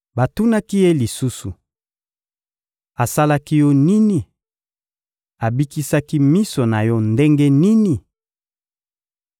Batunaki ye lisusu: — Asalaki yo nini? Abikisaki miso na yo ndenge nini?